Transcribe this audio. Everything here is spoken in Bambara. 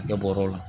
I kɛ bɔrɛ la